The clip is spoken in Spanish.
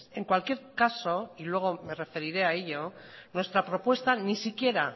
en cualquier caso y luego me referiré a ello nuestra propuesta ni siquiera